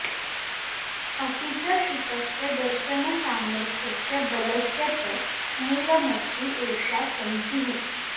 अपि च शुकस्य दशनसामर्थ्यस्य बलस्य च मूलमस्ति एषा चञ्चूः